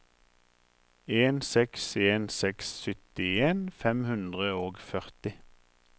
en seks en seks syttien fem hundre og førti